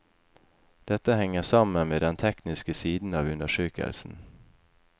Dette henger sammen med den tekniske siden av undersøkelsen.